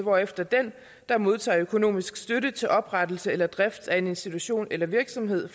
hvorefter den der modtager økonomisk støtte til oprettelse eller drift af en institution eller virksomhed